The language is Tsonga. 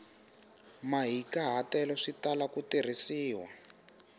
mahikahatelo swi tala ku tirhisiwa